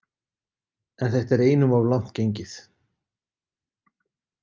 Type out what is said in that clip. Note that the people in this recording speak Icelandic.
En þetta er einum of langt gengið.